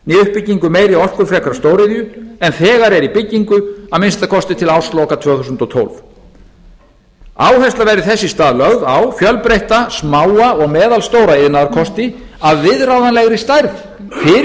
né uppbyggingu meiri orkufrekari stóriðju en þegar er í byggingu að minnsta kosti til ársloka tvö þúsund og tólf áhersla verði þess í stað lögð á fjölbreytta smáa og meðalstóra iðnaðarkosti af viðráðanlegri stærð fyrir